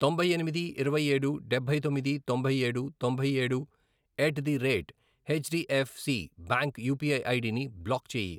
తొంభై ఎనిమిది, ఇరవై ఏడు, డబ్బై తొమ్మిది, తొంభై ఏడు, తొంభై ఏడు, at the rate H DF C bank UPI ID ని బ్లాక్ చేయి.